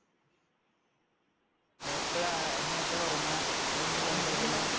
എപ്പോഴാ, ഇനി എപ്പോഴാ ഉറങ്ങുക? അതോ ഇനി phone ൽ കളിക്കൽ ആണ്?